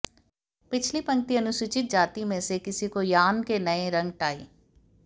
पिछली पंक्ति अनुसूचित जाति में से किसी को यार्न के नए रंग टाई